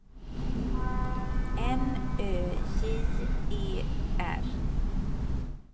N Ö J E R